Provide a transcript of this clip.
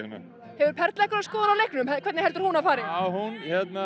en hefur Perla einhverja skoðun á leiknum hvernig heldur hún að fari hún